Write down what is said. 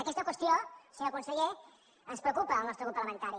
aquesta qüestió senyor conseller ens preocupa al nostre grup parlamentari